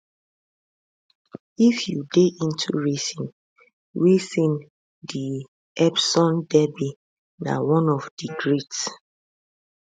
if you dey into racing racing di epsom derby na one of di greats